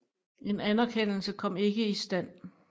En anerkendelse kom ikke i stand